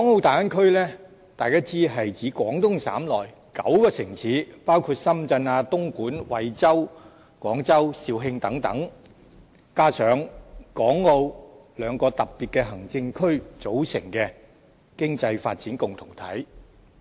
大家知道大灣區是指廣東省內9個城市，包括深圳、東莞、惠州、廣州、肇慶等，加上港澳兩個特別行政區組成的經濟發展共同體。